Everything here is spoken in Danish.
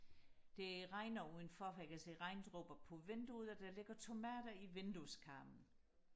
det regner udenfor for jeg kan se regndråber på vinduet og der ligger tomater i vindueskarmen